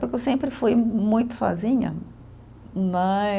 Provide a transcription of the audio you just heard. Porque eu sempre fui muito sozinha, né.